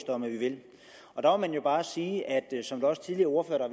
om at vi vil og der må man jo bare sige som også tidligere ordførere har